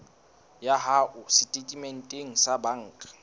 ya hao setatementeng sa banka